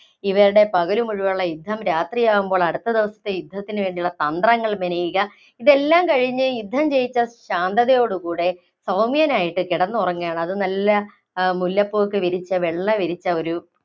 ഇവരുടെ പകല് മുഴുവനുള്ള യുദ്ധം, രാത്രിയാകുമ്പോള്‍ അടുത്ത ദിവസത്തെ യുദ്ധത്തിനുള്ള തന്ത്രങ്ങള്‍ മെനയുക, ഇതെല്ലാം കഴിഞ്ഞ് യുദ്ധം ജയിച്ച ശാന്തതയോട് കൂടെ സൗമ്യനായിട്ട് കിടന്നുറങ്ങുകയാണ്. അതും നല്ല ആ മുല്ലപ്പൂ ഒക്കെ വിരിച്ച, വെള്ള വിരിച്ച ഒരു